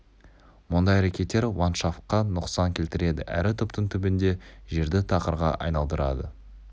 мұндай әрекеттер ландшафтқа нұқсан келтіреді әрі түптің түбінде жерді тақырға айналдырады